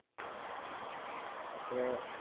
ତାପରେ